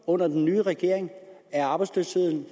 under den nye regering er arbejdsløsheden